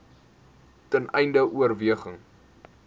ten einde oorweging